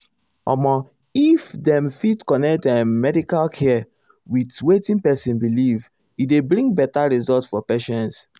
omo if dem fit connect ehm medical care with wetin person believe e dey bring better result for patients.